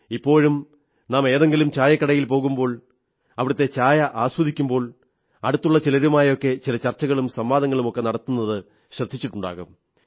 ഇപ്പോഴും നാം ഏതെങ്കിലും ചായക്കടയിൽ പോകുമ്പോൾ അവിടത്തെ ചായ ആസ്വദിക്കുമ്പോൾ അടുത്തുള്ള ചിലരുമായൊക്കെ ചില ചർച്ചകളും സംവാദങ്ങളുമൊക്കെ നടത്താറുള്ളത് ശ്രദ്ധിച്ചിട്ടുണ്ടാകും